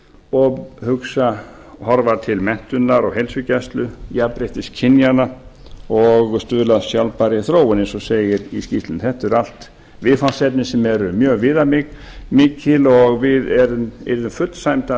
og horfa til menntunar og heilsugæslu jafnréttis kynjanna og stuðla að sjálfbærri þróun eins og segir í skýrslunni þetta eru allt viðfangsefni sem eru mjög viðamikil og við erum yrðum fullsæmd af